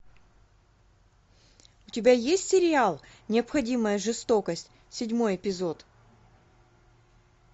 у тебя есть сериал необходимая жестокость седьмой эпизод